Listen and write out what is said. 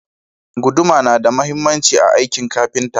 Guduma na da mahhimanci a akin kafinta